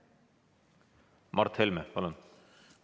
Mart Helme, palun!